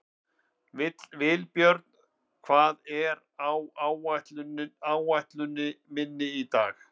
Vilbjörn, hvað er á áætluninni minni í dag?